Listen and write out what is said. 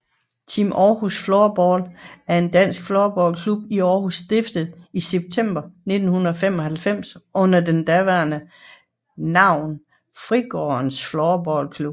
Team Århus Floorball er en dansk floorballklub i Aarhus stiftet i september 1995 under det daværende navn Fritidsgården Floorball Club